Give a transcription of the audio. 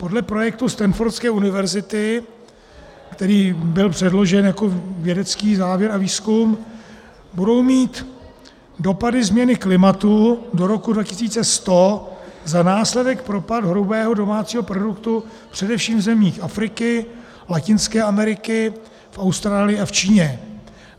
Podle projektu Stanfordské univerzity, který byl předložen jako vědecký závěr a výzkum, budou mít dopady změny klimatu do roku 2100 za následek propad hrubého domácího produktu především v zemích Afriky, Latinské Ameriky, v Austrálii a v Číně.